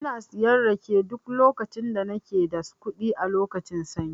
Ina siyan rake duk lokacin da nake da kuɗi a lokacin sanyi.